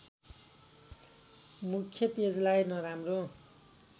मुख्य पेजलाई नराम्रो